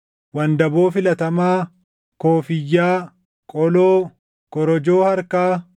wandaboo filatamaa, koofiyyaa, qoloo, korojoo harkaa,